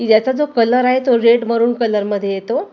याचा जो कलर आहे तो रेड मरून कलर मध्ये येतो.